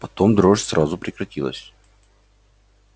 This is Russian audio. потом дрожь сразу прекратилась